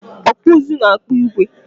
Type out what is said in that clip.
Ọkpụụzụ na-akpụ igwe.